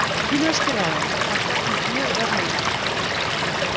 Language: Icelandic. Kínverskir ráðamenn hafa gagnrýnt mjög verðlaunaafhendinguna